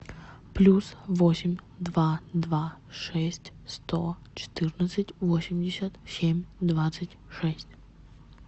плюс восемь два два шесть сто четырнадцать восемьдесят семь двадцать шесть